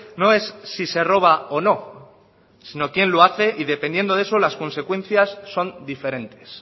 no es si se roba o no sino quien lo hace y dependiendo de eso las consecuencias son diferentes